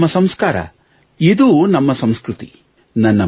ಇದು ನಮ್ಮ ಸಂಸ್ಕಾರ ಇದು ನಮ್ಮ ಸಂಸ್ಕೃತಿ